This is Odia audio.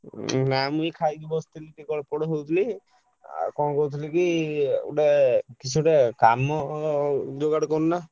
ନା ମୁଁ ଏଇ ଖାଇକି ବସିଥିଲି ଟିକେ ଗୋଡ଼ ପୋଡ଼ ହଉଥିଲି ଆଉ କଣ କହୁଥିଲି କି ଗୁଟେ କିସଟେ କାମ ଯୁଗାଡ କରୁନ।